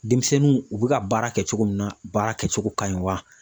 Denmisɛnninw u bɛ ka baara kɛ cogo min na baara kɛcogo ka ɲi wa?